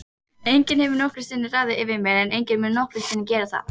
Enginn hefur nokkru sinni ráðið yfir mér og enginn mun nokkru sinni gera það.